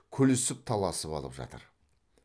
күлісіп таласып алып жатыр